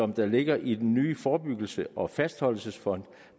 der ligger i den nye forebyggelses og fastholdelsesfond